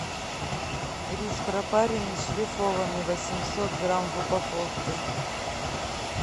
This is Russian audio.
рис пропаренный шлифованный восемьсот грамм в упаковке